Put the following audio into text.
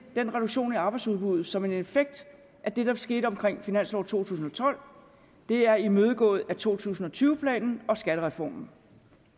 reduktionen i arbejdsudbuddet som en effekt af det der skete omkring finansloven to tusind og tolv det er imødegået med to tusind og tyve planen og skattereformen